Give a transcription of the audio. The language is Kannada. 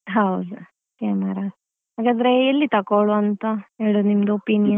ಹೌದು camera ಹಾಗಾದ್ರೆ ಎಲ್ಲಿ ತಕೊಳ್ಳುವಂತ ಹೇಳುದು ನಿಮ್ದು opinion .